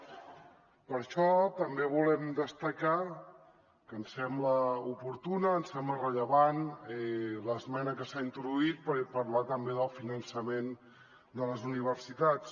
per això també volem destacar que ens sembla oportuna ens sembla rellevant l’esmena que s’ha introduït per parlar també del finançament de les universitats